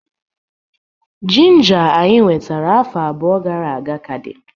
Ginger anyị wetara afọ abụọ gara aga ka dị